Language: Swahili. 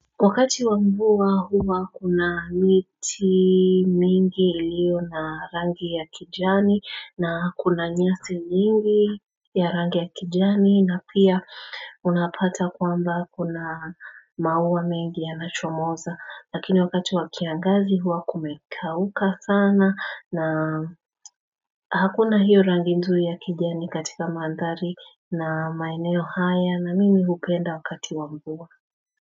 Wakati wa mvua huwa kuna miti mingi ilio na rangi ya kijani na kuna nyasi mingi ya rangi ya kijani na pia unapata kwamba kuna mauwa mingi ya nachomoza lakini wakati wakiangazi huwa kumekauka sana na hakuna hiyo rangi nzuri ya kijani katika mandari na maineo haya na mimi hukenda wakati wa mvua.